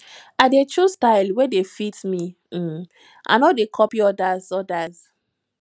i dey choose style wey dey fit me um i no dey copy odas odas